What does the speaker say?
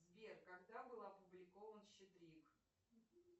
сбер когда был опубликован щедрик